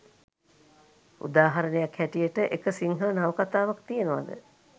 උදාහරණයක් හැටියට එක සිංහල නවකථාවක් තියෙනවද